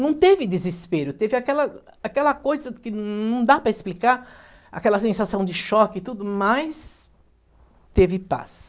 Não teve desespero, teve aquela aquela coisa que não dá para explicar, aquela sensação de choque e tudo, mais teve paz.